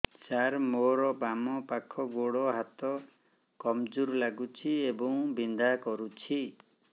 ସାର ମୋର ବାମ ପାଖ ଗୋଡ ହାତ କମଜୁର ଲାଗୁଛି ଏବଂ ବିନ୍ଧା କରୁଛି